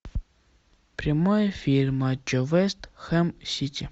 прямой эфир матча вест хэм сити